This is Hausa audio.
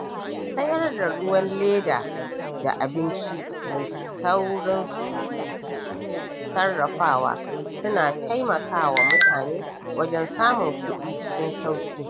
Sayar da ruwan leda da abinci mai saurin sarrafawa suna taimakawa mutane wajen samun kuɗi cikin sauƙi.